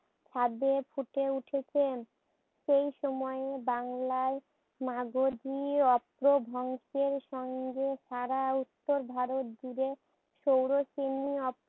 ফুটে উঠেছেন। সেই সময়ে বাংলায় মাগধি অপ্রভ্রংশের সঙ্গে সারা স্তর ভারতজুড়ে সৌরসেনি